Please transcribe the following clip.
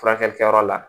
Furakɛlikɛyɔrɔ la